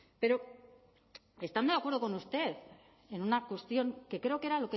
pero estando de acuerdo con usted en una cuestión que creo que era